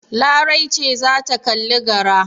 Larai ce za ta kalli gara.